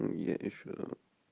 мм я ещё